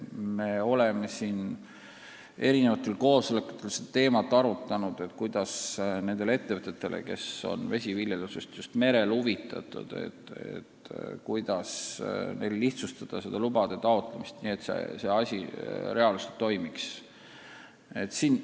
Me oleme eri koosolekutel arutanud teemat, kuidas nendele ettevõtetele, kes on vesiviljelusest just merel huvitatud, lihtsustada asjaomaste lubade taotlemist, nii et see asi reaalselt käima saada.